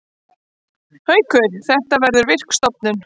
Haukur: Þetta verður virk stofnun.